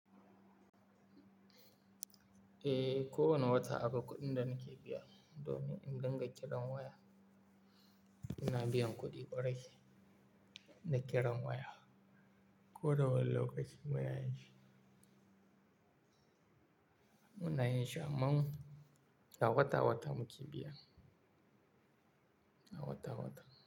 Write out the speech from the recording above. Eh, ko wane wata akwai kuɗin da nake biya, domin in dinga kiran waya. Ina biyan kuɗi kwarai na kiran waya. Ko da wane lokaci, baya yi shi. Muna yin shi amman, a wata wata muke biya. A wata wata.